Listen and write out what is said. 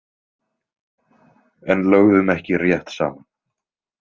En lögðum ekki rétt saman.